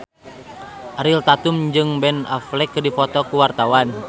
Ariel Tatum jeung Ben Affleck keur dipoto ku wartawan